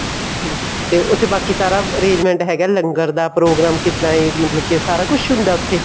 ਠੀਕ ਤੇ ਉੱਥੇ ਬਾਕੀ ਸਾਰਾ arrangement ਹੈਗਾ ਲੰਗਰ ਦਾ ਪ੍ਰੋਗਰਾਮ ਕਿੱਦਾ ਏ ਮਤਲਬ ਕੀ ਸਾਰਾ ਕੁੱਛ ਹੁੰਦਾ ਹੈ ਉੱਥੇ